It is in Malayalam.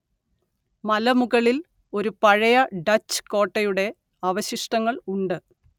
മലമുകളില്‍ ഒരു പഴയ ഡച്ച് കോട്ടയുടെ അവശിഷ്ടങ്ങള്‍ ഉണ്ട്